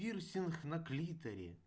пирсинг на клиторе